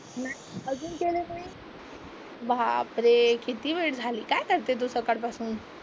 अजून केलं नाही? बापरे किती वेळ झाली, काय करते तू सकाळपासून?